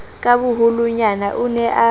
ka boholonyana o ne a